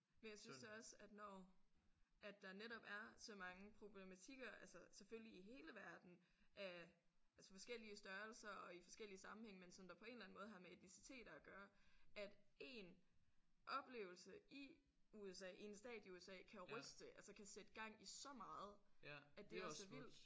Men jeg synes da også at når at der netop er så mange problematikker altså selvfølgelig i hele verden øh altså forskellige størrelser og i forskellige sammenhænge men som der på en eller anden måde har med etniciteter at gøre at én oplevelse i USA i en stat i USA kan ryste altså kan sætte gang i så meget at det er så vildt